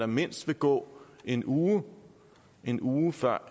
mindst vil gå en uge en uge før